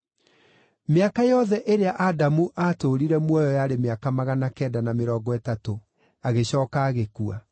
Mĩaka yothe ĩrĩa Adamu aatũũrire muoyo yarĩ mĩaka magana kenda na mĩrongo ĩtatũ, agĩcooka agĩkua.